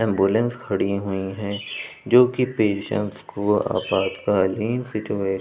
ambulance खड़ी हुई है जो कि पेशेंट को आपातकालीनसिचुएशन --